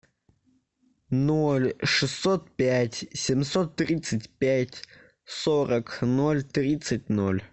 ноль шестьсот пять семьсот тридцать пять сорок ноль тридцать ноль